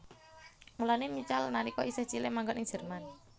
Mulané Michal nalika isih cilik manggon ing Jerman